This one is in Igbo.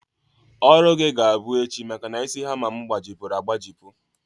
Ọrụ gị ga-abụ echi maka na isi hama m gbajipụrụ agbajipụ